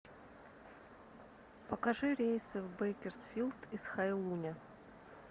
покажи рейсы в бейкерсфилд из хайлуня